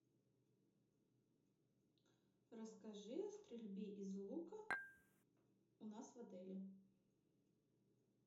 расскажи о стрельбе из лука у нас в отеле